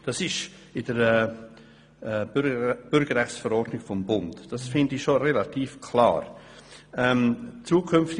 » Dies steht in der Bürgerrechtsverordnung des Bundes, und dies scheint mir schon relativ klar zu sein.